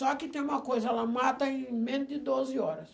Só que tem uma coisa, ela mata em menos de doze horas.